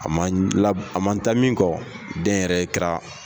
A man a man ta min kɔ dɛnyɛrɛye kɛra